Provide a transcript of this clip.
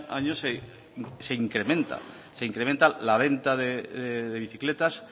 año se incrementa se incrementa la venta de bicicletas